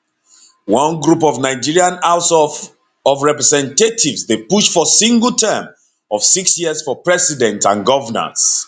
one group of nigeria house of of representatives dey push for single term of six years for presidents and govnors